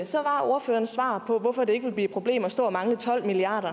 så var ordførerens svar på hvorfor det ikke vil blive et problem at stå og mangle tolv milliard